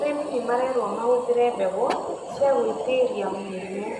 Arĩmi nĩmarerwo mahũthĩre mbegũ ciagwitiria mĩrimũ.